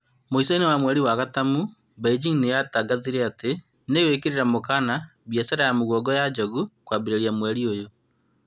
Muico-inĩ wa mweri wa gatumu, Beijing nĩyatangathire atĩ nĩigwĩkĩrĩra mũkana mbiacara ya mĩguongo ya njogu kũambĩrĩria mwaka ũyũ